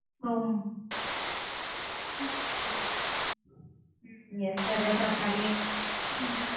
ஓ உம் yes sir resort மாரியே